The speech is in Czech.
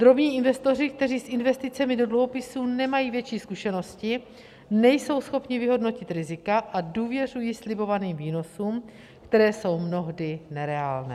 Drobní investoři, kteří s investicemi do dluhopisů nemají větší zkušenosti, nejsou schopni vyhodnotit rizika a důvěřují slibovaným výnosům, které jsou mnohdy nereálné.